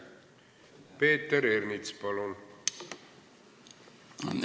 Peeter Ernits, palun!